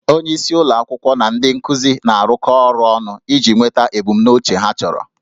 Onyeisi ụlọ akwụkwọ na ndị nkuzi na-arụkọ ọrụ ọnụ iji nweta ebumnuche ha chọrọ